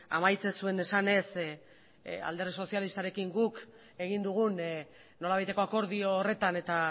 amaitzen zuen esanez alderdi sozialistarekin guk egin dugun nolabaiteko akordio horretan eta